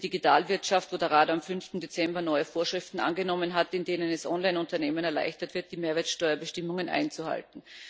Und die Digitalwirtschaft, wo der Rat am 5. Dezember neue Vorschriften angenommen hat, mit denen es Online Unternehmen erleichtert wird, die Mehrwertsteuerbestimmungen einzuhalten.